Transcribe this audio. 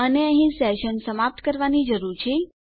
અને અહીં સેશન સમાપ્ત કરવાની જરૂર છે